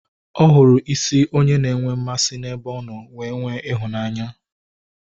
Ọ hụrụ isi onye ọ na enwe mmasị n'ebe ọ nọ wee nwee ịhụnanya